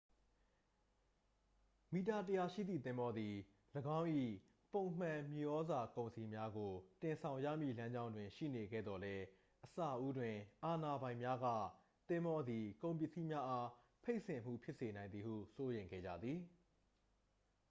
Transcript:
မီတာ 100 ရှိသည့် သင်္ဘောသည် ၎င်း၏ ပုံမှန်မြေဩဇာကုန်စည်များကို တင်ဆောင်ရမည့်လမ်းကြောင်းတွင်ရှိနေခဲ့သော်လည်း အစဦးတွင် အာဏာပိုင်များက သင်္ဘောသည် ကုန်ပစ္စည်းများအား ဖိတ်စင်မှုဖြစ်စေနိုင်သည်ဟု စိုးရိမ်ခဲ့ကြသည်